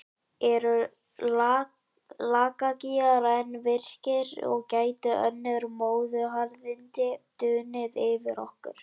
Eru Lakagígar enn virkir og gætu önnur móðuharðindi dunið yfir okkur?